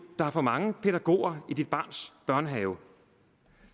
der er for mange pædagoger i dit barns børnehave